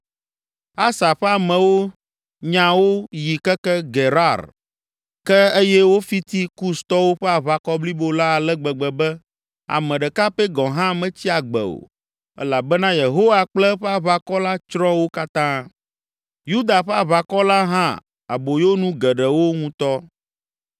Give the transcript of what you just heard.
Asa ƒe amewo nya wo yi keke Gerar ke eye wofiti Kustɔwo ƒe aʋakɔ blibo la ale gbegbe be, ame ɖeka pɛ gɔ̃ hã metsi agbe o elabena Yehowa kple eƒe aʋakɔ la tsrɔ̃ wo katã. Yuda ƒe aʋakɔ la ha aboyonu geɖewo ŋutɔ.